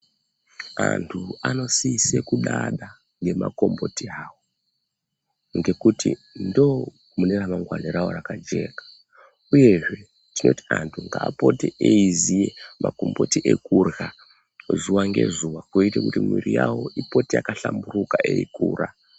Antu anosise kudada ngemagomboti awo, ngekuti ndomune ramangwani ravo rakajeka, uyezve tinoti antu ngaapote eiiziye magomboti ekurya ,zuwa ngezuwa kuite kuti mwiiri yavo ipote yakahlamburuka eikura .